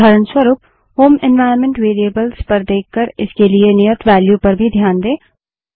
उदाहरणस्वरूप home environment variables पर देखकर इसके लिए नियत वेल्यू पर भी ध्यान दें